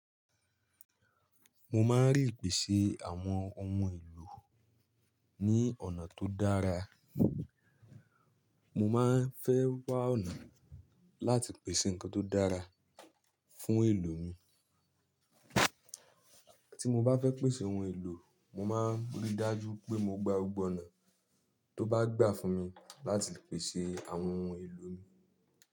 Mo máa ń rí ìpèsè àwọn ohun èlò ní ọ̀nà tó dára. Mo máa ń fẹ́ wá ọ̀nà láti pèsè nǹkan tó dára fún èlò mi. Tí mo bá fẹ́ pèsè ohun èlò, mo máa ríi dájú pé mo gba gbogbo ọ̀nà tó bá gbà fún mi láti pèsè àwọn ohun èlò mi.